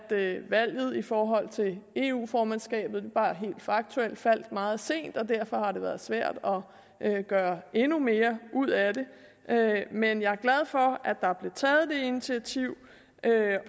valget i forhold til eu formandskabet helt faktuelt faldt meget sent og derfor har det været svært at gøre endnu mere ud af det men jeg er glad for at der er blevet taget det initiativ